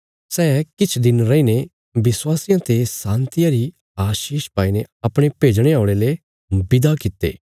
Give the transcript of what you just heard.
सै किछ दिन रईने विश्वासियां ते शान्तिया री आशीष पाईने अपणे भेजणे औल़यां ले विदा कित्ते